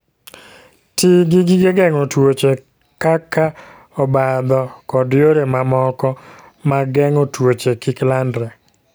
Ti gi gige geng'o tuoche kaka obadho kod yore mamoko mag geng'o tuoche kik landre.